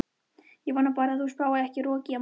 Ég vona bara að það spái ekki roki á morgun.